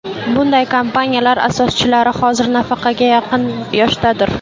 Bunday kompaniyalar asoschilari hozir nafaqaga yaqin yoshdadir.